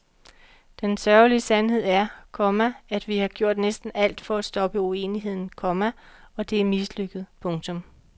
Den sørgelige sandhed er, komma at vi har gjort næsten alt for at stoppe uenigheden, komma og det er mislykket. punktum